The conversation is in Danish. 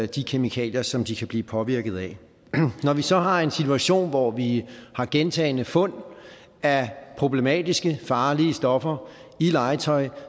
de kemikalier som de kan blive påvirket af når vi så har en situation hvor vi har gentagne fund af problematiske farlige stoffer i legetøj